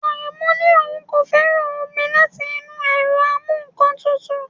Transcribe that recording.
Aremu ní òun kò fẹ́ràn omi láti inú ẹ̀rọ amú-nǹkan-tutù